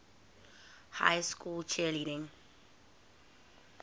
high school cheerleading